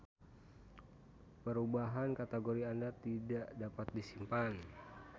Perubahan kategori Anda tidak dapat disimpan.